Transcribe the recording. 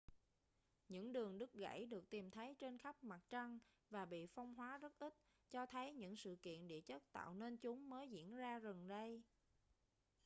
những đường đứt gãy được tìm thấy trên khắp mặt trăng và bị phong hóa rất ít cho thấy những sự kiện địa chất tạo nên chúng mới diễn ra gần đây